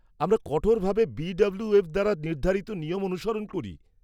আমরা কঠোরভাবে বি.ডাব্লিউ.এফ দ্বারা নির্ধারিত নিয়ম অনুসরণ করি।